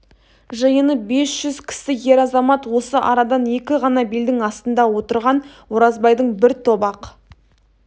жиыны бес жүз кісі ер-азамат осы арадан екі ғана белдің астында отырған оразбайдың бір топ ақ